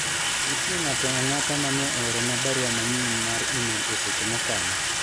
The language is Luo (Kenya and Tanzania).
nitie ng'ato ang'ata mane oorona barua manyien mar email e seche mokalo